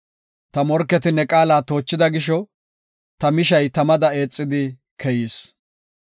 Ta morketi ne qaala toochida gisho, ta mishay tamada eexidi keyis.